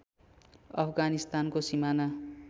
अफगानिस्तानको सिमाना